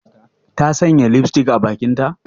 Ta sanya lipstick a bakinta?